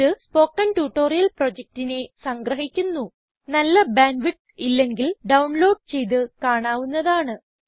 ഇത് spoken tutorial പ്രൊജക്റ്റിനെ സംഗ്രഹിക്കുന്നു നല്ല ബാൻഡ് വിഡ്ത്ത് ഇല്ലെങ്കിൽ ഡൌൺ ലോഡ് ചെയ്ത് കാണാവുന്നതാണ്